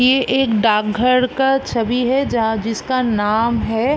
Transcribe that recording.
ये एक डाक घर का छबि है जहाँ जिसका नाम है --